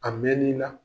A mɛn'i la